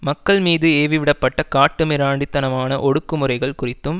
மக்கள் மீது ஏவி விடப்பட்ட காட்டுமிராண்டி தனமான ஒடுக்குமுறைகள் குறித்தும்